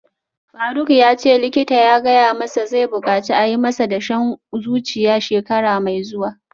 Faruk yace likita ya gaya masa zai bukaci a yi masa dashen zuciya shekara mai zuwa